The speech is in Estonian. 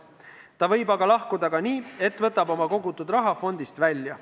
Aga ta võib lahkuda ka nii, et võtab oma kogutud raha fondist välja.